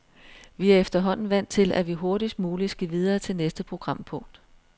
Vi er efterhånden vant til, at vi hurtigst muligt skal videre til næste programpunkt.